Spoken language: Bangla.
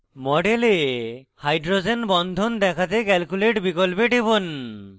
model hydrogen বন্ধন দেখাতে calculate বিকল্পে টিপুন